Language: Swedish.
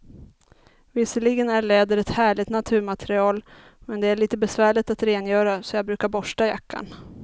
Visserligen är läder ett härligt naturmaterial, men det är lite besvärligt att rengöra, så jag brukar borsta jackan.